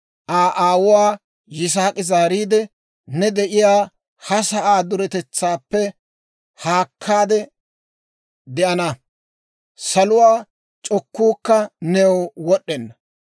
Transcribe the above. Aa aawuwaa Yisaak'i zaariide, «Ne de'iyaa ha sa'aa duretetsaappe haakkaade de'ana; Saluwaa c'okkuukka new wod'd'enna;